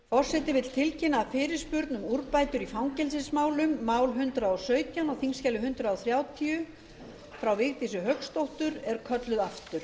forseti vill tilkynna að fyrirspurn um úrbætur í fangelsismálum mál hundrað og sautján á þingskjali hundrað þrjátíu frá vigdísi hauksdóttur er kölluð aftur